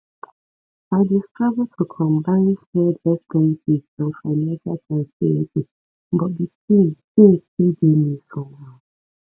i dey struggle to combine shared expenses and financial transparency but di thing thing still dey me somehow